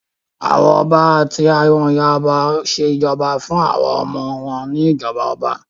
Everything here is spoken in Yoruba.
Àwọn ọba àti àwọn ayaba ṣé ìjọba fún àwọn ọmọ wọn ní ìjọba ọba